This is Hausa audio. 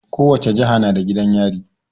Ko wace jiha na da gidan yari.